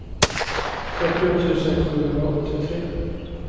fyrtio tusen sjuhundraåttiotre